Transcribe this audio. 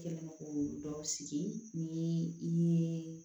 I kɛlen don k'olu dɔw sigi ni i ye